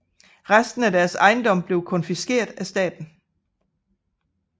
Resten af deres ejendom blev konfiskeret af staten